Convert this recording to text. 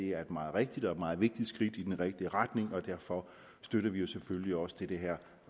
er et meget rigtigt og meget vigtigt skridt i den rigtige retning og derfor støtter vi jo selvfølgelig også det her